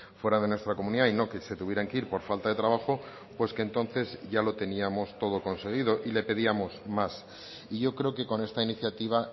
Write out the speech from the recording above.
fuera de nuestra comunidad y no que se tuvieran que ir por falta de trabajo pues que entonces ya lo teníamos todo conseguido y le pedíamos más y yo creo que con esta iniciativa